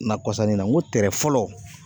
kɔsani na kɔrɔ